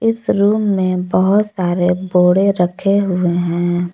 इस रूम में बहोत सारे बोड़े रखे हुए हैं।